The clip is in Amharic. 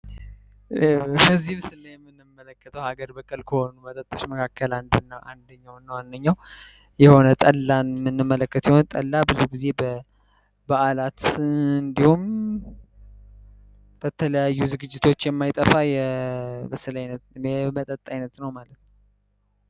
ከዚህ ብስላ የምንመለከተው ሀገር በቀል ከሆኑ መጠጠሽ መካከል አንድና አንድኛው ነዋንኛው የሆነ ጠላ ምንመለከት የሆነ ጠላ ብዙ ጊዜ በዓላት እንዲሁም በተለያዩ ዝግጅቶች የማይጠፋ የመጠጣ አይነት ነው ማለት ነው።